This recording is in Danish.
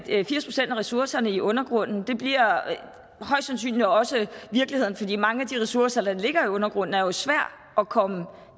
ressourcerne i undergrunden det bliver højst sandsynligt også virkeligheden fordi mange af de ressourcer der ligger i undergrunden jo er svære at komme